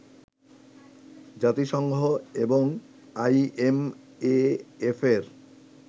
জাতিসংঘ এবং আইএমএএফের